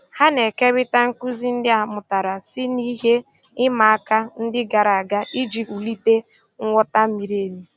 Ha na-ékérị̀ta nkụ́zí ndí a mụ́tàra sí ná ihe ị̀ma àka ndí gààrà àga ijì wùlìtè nghọ́tá mìrí èmì.